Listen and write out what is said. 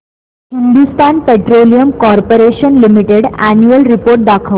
Hindustan petroleum corporation limited annual report दाखव